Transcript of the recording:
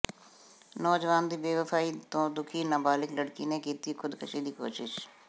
ਨੌਜਵਾਨ ਦੀ ਬੇਵਫਾਈ ਤੋਂ ਦੁਖੀ ਨਬਾਲਿਗ ਲੜਕੀ ਨੇ ਕੀਤੀ ਖੁਦਕੁਸ਼ੀ ਦੀ ਕੋਸ਼ਿਸ਼